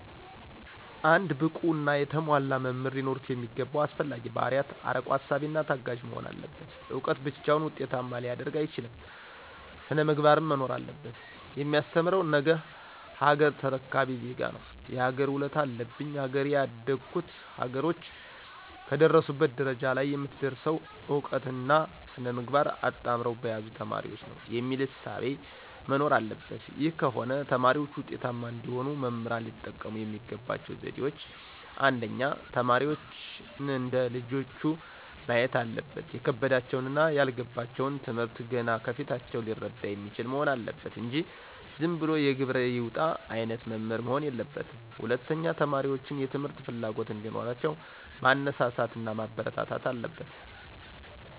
አንድ ብቁና የተሟላ መምህር ሊኖሩት የሚገባው አስፈላጊ ባህርያት አርቆ አሳቢና ታጋሽ መሆን አለበት እውቀት ብቻውን ዉጤታማ ሊያደርግ አይችልም ሥነ-ምግባርም መኖር አለበት። የማስተምረው ነገሀገር ተረካቢ ዜጋ ነው የሀገር ውለታ አለብኝ ሀገሬ ያደጉት ሀገሮች ከደረሱበት ደረጃ ለይ የምትደርሰው እውቀትና ሥነ-ምግባር አጣምረው በያዙ ተማሪዎች ነው። የሚል እሳቤ መኖር አለበት ይህ ከሆነ ተማሪዎች ውጤታማ እንዲሆኑ መምህራን ሊጠቀሙ የሚገባቸው ዘዴዎች :1. ተማሪዎችን እንደ ልጆቹ ማየት አለበት የከበዳቸውንና ያልገባቸውን ትምህርት ገና ከፊታቸው ሊረዳ የሚችል መሆን አለበት እንጂ ዝንብሎ የግብር ይውጣ አይነት መምህር መሆን የለበትም። 2. ተማሪዎችን የትምህርት ፍላጎት እዲኖራቸው ማነሳሳት ማበረታታት አለበት።